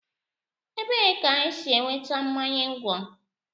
Ebee ka e si enweta mmanya ńgwọ?